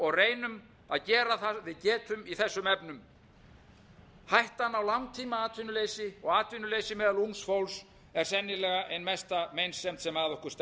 og reynum að gera það við getum í þessum efnum hættan á langtímaatvinnuleysi og atvinnuleysi meðal ungs fólks er sennilega ein mesta meinsemd sem að okkur